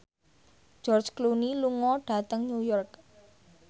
George Clooney lunga dhateng New York